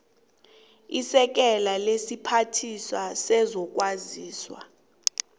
isekela lesiphathiswa sezokwazisa